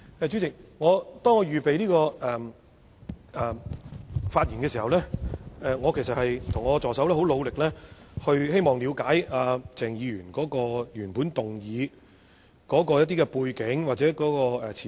主席，在我預備發言的時候，我和助手都希望了解鄭議員的原議案的背景或前提。